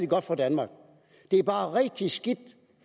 godt for danmark det er bare rigtig skidt